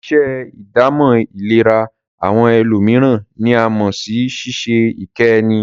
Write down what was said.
Ṣíṣe ìdámọ̀ ìlera àwọn ẹlòmíràn ní a mọ̀ sí ṣíṣe ìkẹ́ ẹni.